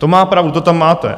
To má pravdu, to tam máte.